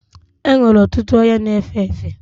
E nwere ọtụtụ ọria na-efe efe.